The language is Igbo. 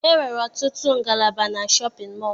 E nwere ọtụtụ ngalaba na shọpịn mọọ